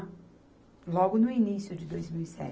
Logo no início de dois mil e se.